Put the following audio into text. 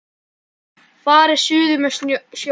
Farið suður með sjó.